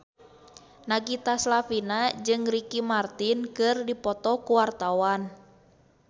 Nagita Slavina jeung Ricky Martin keur dipoto ku wartawan